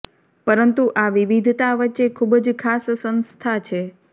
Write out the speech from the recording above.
પરંતુ આ વિવિધતા વચ્ચે ખૂબ જ ખાસ સંસ્થા છે